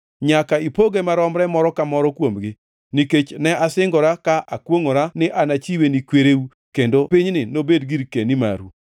Nyaka ipoge maromre moro ka moro kuomgi. Nikech ne asingora ka akwongʼora ni anachiwe ni kwereu, kendo pinyni nobed girkeni maru.